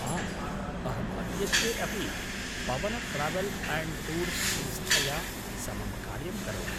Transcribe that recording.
आम्, अहम् अद्यत्वे अपि पवन ट्रावेल् अन्ड् टूर्स् संस्थया समं कार्यं करोमि।